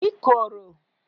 ikoro